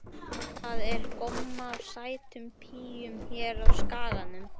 Það er gomma af sætum píum hér á Skaganum.